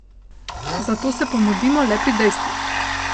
Zato se pomudimo le pri dejstvih.